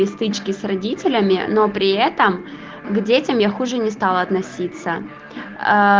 и стычки с родителями но при этом к детям я хуже не стала относиться ээ